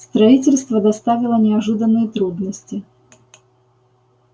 строительство доставило неожиданные трудности